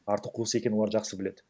арты қуыс екенін олар жақсы біледі